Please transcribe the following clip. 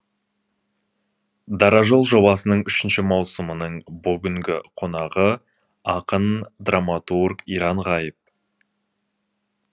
дара жол жобасының үшінші маусымының бүгінгі қонағы ақын драматург иран ғайып